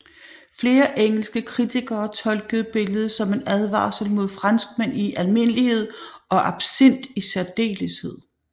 Flere engelske kritikere tolkede billedet som en advarsel mod franskmænd i almindelighed og absint i særdeleshed